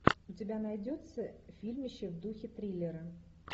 у тебя найдется фильмище в духе триллера